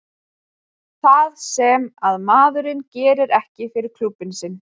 Það sem að maður gerir ekki fyrir klúbbinn sinn.